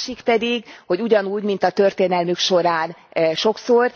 A másik pedig, hogy ugyanúgy, mint a történelmük során sokszor